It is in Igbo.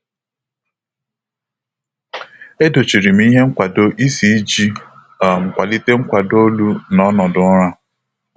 E dochiri m ihe nkwado isi iji um kwalite nkwado olu na ọnọdụ ụra.